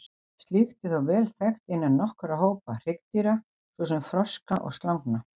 Slíkt er þó vel þekkt innan nokkurra hópa hryggdýra, svo sem froska og slangna.